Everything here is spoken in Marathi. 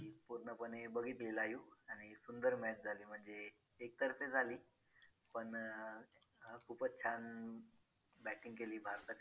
तस पण result जर बगायला गेल तर पंधरा ते वीस दिवसात result मिळतो.